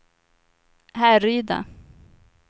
Härryda